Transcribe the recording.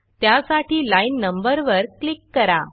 त्यासाठी लाईन नंबरवर क्लिक करा